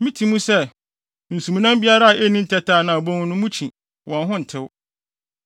Miti mu sɛ, nsumnam biara a enni ntɛtɛ anaa abon no, mukyi, wɔn ho ntew.